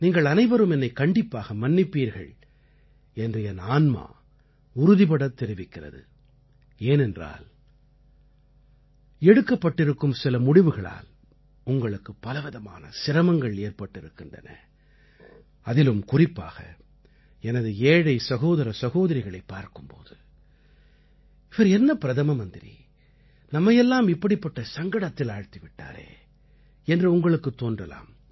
நீங்கள் அனைவரும் என்னைக் கண்டிப்பாக மன்னிப்பீர்கள் என்று என் ஆன்மா உறுதிபடத் தெரிவிக்கிறது ஏனென்றால் எடுக்கப்பட்டிருக்கும் சில முடிவுகளால் உங்களுக்குப் பலவிதமான சிரமங்கள் ஏற்பட்டிருக்கின்றன அதிலும் குறிப்பாக எனது ஏழை சகோதர சகோதரிகளைப் பார்க்கும் போது இவர் என்ன பிரதம மந்திரி நம்மையெல்லாம் இப்படிப்பட்ட சங்கடத்தில் ஆழ்த்தி விட்டாரே என்று உங்களுக்குத் தோன்றலாம்